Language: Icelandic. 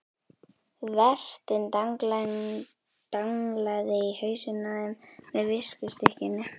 Vertinn danglaði í hausinn á þeim með viskustykkinu.